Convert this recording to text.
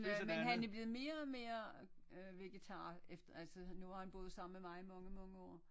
Men han er blevet mere og mere øh vegetar efter altså nu har han boet sammen med mig i mange mange år